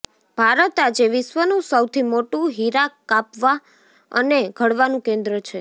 ભારત આજે વિશ્વનું સૌથી મોટું હીરા કાપવાં અને ઘડવાનું કેન્દ્ર છે